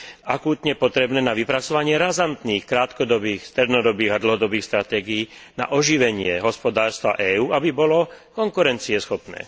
akútne potrebné na vypracovanie razantných krátkodobých, strednodobých a dlhodobých stratégií na oživenie hospodárstva EÚ, aby bolo konkurencieschopné.